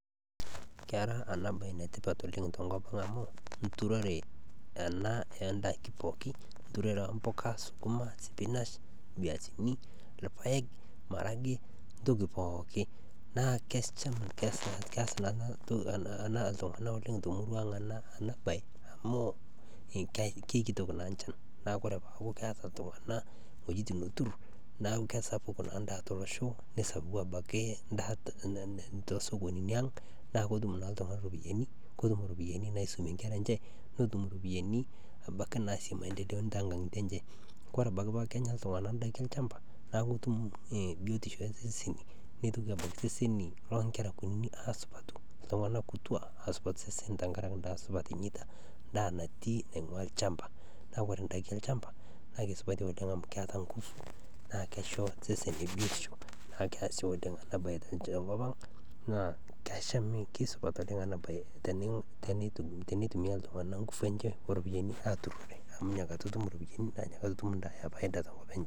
Kera enabaye netipat oleng to nkopang amu nturore ena oondaiki pooki, nturore empuka suguma, sipinash, mbiasini, ilpaek, maragie ntoki pooki, naa keas naa anatoki naa iltungana oleng te murua aang ana baye amuu kekitok naa inchan naaku ore peaku keata iltungana wuejitin nootur naaku kesapuk naa indaa to losho, nesapuk abaki indaa to sokonini aang' na kotum naa iltungani iropiyiani, ketum iropiyiani naisumie nkera enye ,netum iropiyiani abaki naisumie to nkangitie enche. Kore abaki paa kenya iltungana indaiki elchamba naa kotum biotisho eseseni, neitoki abaki seseni loo nkera kunini aasidanu, ata iltungana kutua aasupatu osesen tengaraki indaa supat enyeita, indaa natii nainguaa ilchamba, naa kore indiaki elchamba naa kesupati oleng amu keeta engufu ,naa keisho seseni biotisho, naa keasie oleng enabaye te nkopang naa keshami, kesupat oleng enabaye teneitumia iltungana nkufu enche ooropiyani aaturr amu inakata otum iropiyiani naa inyakata etum indaa.